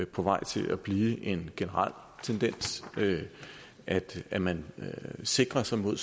på vej til at blive en generel tendens at at man sikrer sig mod